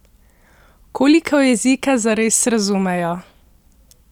Koliko jezika zares razumejo?